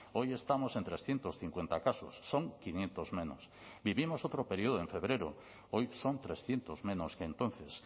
hoy estamos en trescientos cincuenta casos son quinientos menos vivimos otro periodo en febrero hoy son trescientos menos que entonces